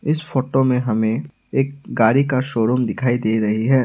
इस फोटो में हमें एक गाड़ी का शोरूम दिखाई दे रही है।